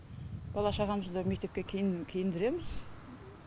бала шағамызды мектепке киін киіндіреміз